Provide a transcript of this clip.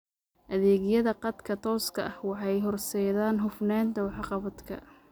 Adeegyada khadka tooska ah waxay horseedaan hufnaanta waxqabadka.